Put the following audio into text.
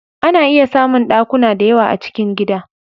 A na iya samun ɗakuna da yawa a cikin gida